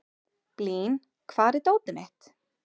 Blín, hvar er dótið mitt?